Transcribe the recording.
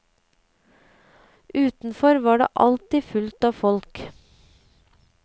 Utenfor var det alltid fullt av folk.